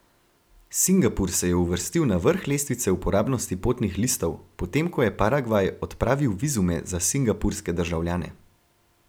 Singapur se je uvrstil na vrh lestvice uporabnosti potnih listov, potem ko je Paragvaj odpravil vizume za singapurske državljane.